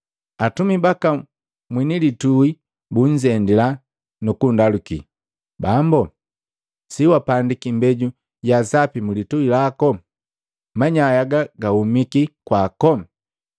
Atumi baka mwini litui bunzendila, nukundaluki, ‘Bambu, si wapandiki imbeju ya sapi mulitui lako? Manyai aga gahumiki kwako?’